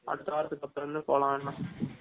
அடுத்த வாரதுக்கு அப்பரம் இருந்து வேனா போலாம்